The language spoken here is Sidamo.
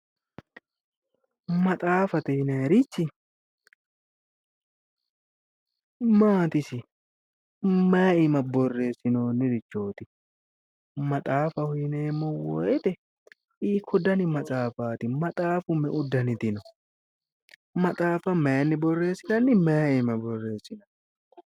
Maxaaffate yinayrichi maati isi mayi iima borreessinoonnirichooti maxaafffaho yineemmo woyte hiikko Dani maxaaffaati maxaaffa me'u daniti no maxaaffa mayinni borreessinanni may iimma borreessinayi